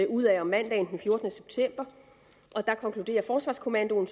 ud af om mandagen den fjortende september konkluderer forsvarskommandoen